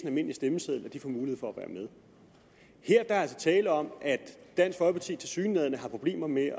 almindelig stemmeseddel får mulighed for at være med her er der altså tale om at dansk folkeparti tilsyneladende har problemer med